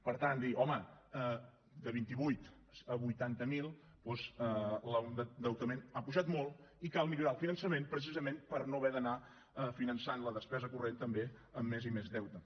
per tant dir home de vint vuit a vuitanta miler doncs l’endeutament ha pujat molt i cal millorar el finançament precisament per no haver d’anar finançant la despesa corrent també amb més i més deute